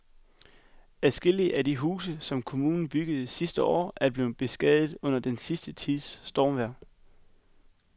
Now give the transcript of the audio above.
Adskillige af de huse, som kommunen byggede sidste år, er blevet beskadiget under den sidste tids stormvejr.